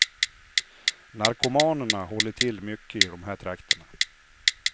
Narkomanerna håller till mycket i de här trakterna.